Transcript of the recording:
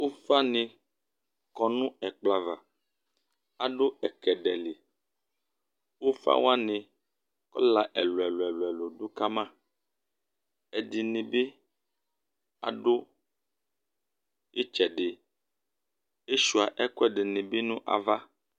ufanɩ kɔ nʊ ɛkplɔ ava, adʊ ɛkɛdɛ li, ufawanɩ ivi ɛlʊɛlʊ dʊ kama ɛdɩnɩ bɩ dʊ itsɛdɩ, asuia ɛkʊɛdɩnɩ bɩ nʊ ava